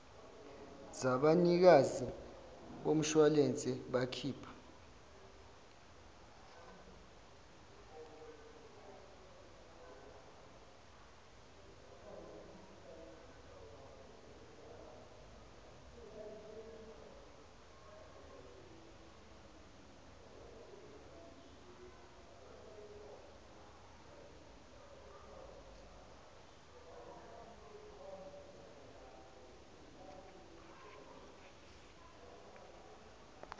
zabanikazi bemishuwalense abakhipha